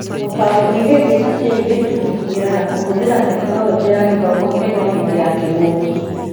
Gũtaũkwo ihĩngĩca cia airĩtu gũkinyĩra na kũhũthĩra Tekinoronjĩ ya Gĩthomo Kenya hĩndĩ ya kĩng'ũki